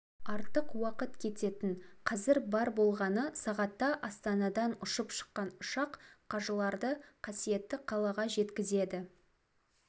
артық уақыт кететін қазір бар болғаны сағатта астанадан ұшып шыққан ұшақ қажыларды қасиетті қалаға жеткізеді